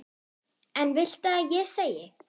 Hvað viltu að ég segi?